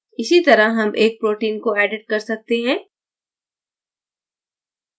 इसी तरह हम एक protein को edit कर सकते हैं